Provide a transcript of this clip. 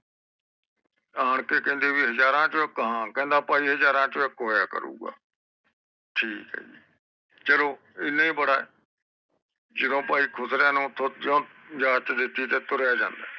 ਆਣਕੇ ਕਹਿੰਦੇ ਬਈ ਹਜਾਰੋਂ ਚੋ ਇਕ ਹਾਂ ਕਹਿੰਦਾ ਭਾਈ ਹਾਜਰ ਚੋ ਇਕ ਹੋਇਆ ਕਰੂਗਾ ਠੀਕ ਹੈ ਜੀ ਚਲੋ ਇਹਨਾਂ ਏ ਬੜਾ ਏ ਜਦੋ ਭਾਈ ਖੁਸਰਿਆਂ ਨੂੰ ਉਤੋਂ ਜੋ ਇਜਾਜਤ ਦਿਤੀ ਤਾ ਤੁਰਿਆ ਜਾਂਦਾ ਏ